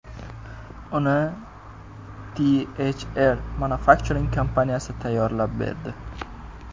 Uni THR Manufacturing kompaniyasi tayyorlab berdi.